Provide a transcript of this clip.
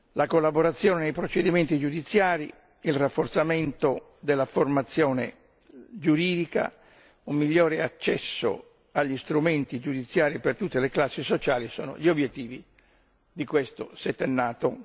La collaborazione nei procedimenti giudiziari, il rafforzamento della formazione giuridica, un migliore accesso agli strumenti giudiziari per tutte le classi sociali sono gli obiettivi di questo settennato.